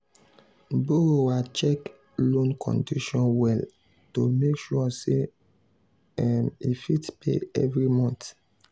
borrower check loan condition well to make sure say um e fit pay every month.